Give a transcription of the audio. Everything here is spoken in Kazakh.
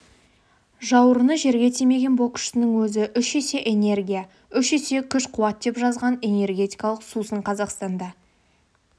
жауырыны жерге тимеген боксшының өзі үш есе энергия үш есе күш-қуат деп жазған энергетикалық сусын қазақстанда